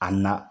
A na